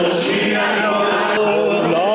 Qələbədir.